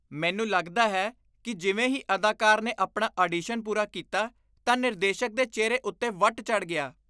ਮੈਨੂੰ ਲੱਗਦਾ ਹੈ ਕਿ ਜਿਵੇਂ ਹੀ ਅਦਾਕਾਰ ਨੇ ਆਪਣਾ ਆਡੀਸ਼ਨ ਪੂਰਾ ਕੀਤਾ, ਤਾਂ ਨਿਰਦੇਸ਼ਕ ਦੇ ਚਿਹਰੇ ਉੱਤੇ ਵੱਟ ਚੜ੍ਹ ਗਿਆ।